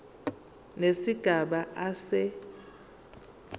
nesigaba a se